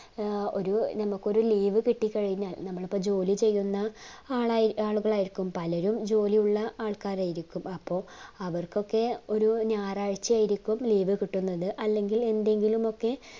ഏർ ഒരു നമ്മുക് ഒരു leave കിട്ടിക്കഴിഞ്ഞാൽ നമ്മളിപ്പോ ജോലി ചെയ്യുന്ന ആളായി ആളുകളായിരിക്കും പലരും ജോലിയുള്ള ആൾകാരായിരിക്കും അപ്പൊ അവർക്കൊക്കെ ഒരു ഞായറാഴ്ച്ച യിരിക്കും leave കിട്ടുന്നത് അല്ലെങ്കിൽ എന്തെങ്കിലൊമൊക്കെ